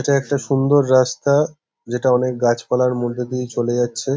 এটা একটা সুন্দর রাস্তা যেটা অনেক গাছপালার মধ্যে দিয়ে চলে যাচ্ছে।